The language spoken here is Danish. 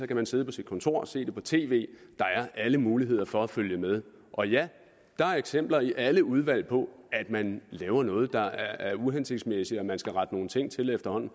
kan man sidde på sit kontor og se det på tv der er alle muligheder for at følge med og ja der er eksempler i alle udvalg på at man laver noget der er uhensigtsmæssigt og at man skal rette nogle ting til efterhånden